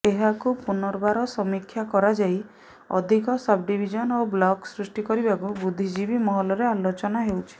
ଏହାକୁ ପୁନର୍ବାର ସମୀକ୍ଷା କରାଯାଇ ଅଧିକ ସବ୍ଡିଭିଜନ୍ ଓ ବ୍ଲକ ସୃଷ୍ଟି କରିବାକୁ ବୁଦ୍ଧିଜୀବୀ ମହଲରେ ଆଲୋଚନା ହେଉଛି